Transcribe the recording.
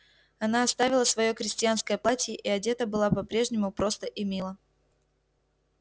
она оставила своё крестьянское платье и одета была по-прежнему просто и мило